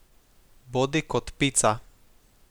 Bodi kot pica.